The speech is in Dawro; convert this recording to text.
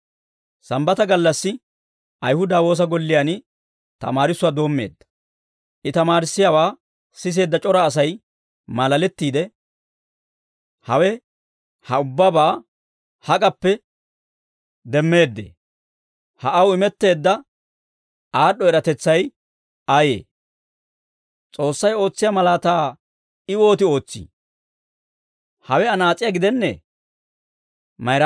Sambbataa gallassi Ayihuda woosa golliyaan tamaarissuwaa doommeedda; I tamaarissiyaawaa siseedda c'ora Asay maalalettiide, «Hawe ha ubbabaa hak'appe demmeeddee? Ha aw imetteedda aad'd'o eratetsay ayee? S'oossay ootsiyaa malaataa I wooti ootsii? Ayihudatuwaa woosa Gollen nabbabiyaa bitaniyaa